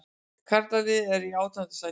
Karlaliðið er í átjánda sæti